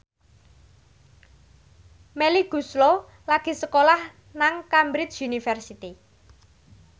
Melly Goeslaw lagi sekolah nang Cambridge University